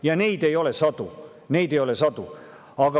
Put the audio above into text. Ja neid ei ole sadu – neid ei ole sadu!